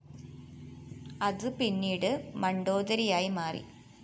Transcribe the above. അതു പിന്നീട് മണ്‌ഡോദരിയായി മാറി